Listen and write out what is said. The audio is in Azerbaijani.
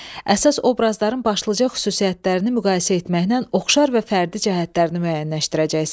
Əsas obrazların başlıca xüsusiyyətlərini müqayisə etməklə oxşar və fərdi cəhətlərini müəyyənləşdirəcəksən.